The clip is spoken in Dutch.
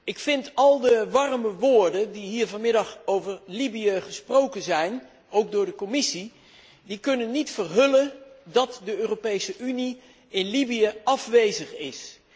Ik vind dat al de warme woorden die hier vanmiddag over Libië gesproken zijn, ook door de Commissie, niet kunnen verhullen dat de Europese Unie in Libië afwezig is